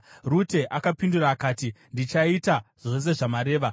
Rute akapindura akati, “Ndichaita zvose zvamareva.”